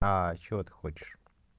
чего ты хочешь